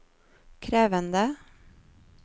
krevende